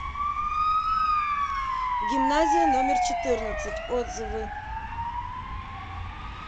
гимназия номер четырнадцать отзывы